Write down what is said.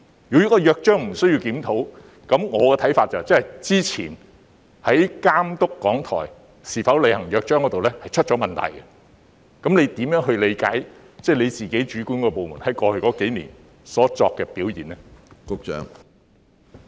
如真的不需要檢討《約章》，我認為那便意味過去在監督港台有否履行《約章》方面必然出了問題，那麼局長如何理解其轄下政策局在過去數年的工作表現呢？